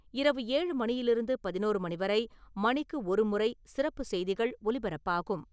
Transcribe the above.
இரவு ஏழு மணியிலிருந்து பதினோரு மணி வரை மணிக்கு ஒருமுறை சிறப்பு செய்திகள் ஒலிபரப்பாகும்.